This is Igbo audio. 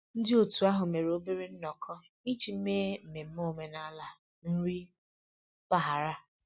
Ndị otu ahụ mere obere nnọkọ iji mee mmemme omenala nri mpaghara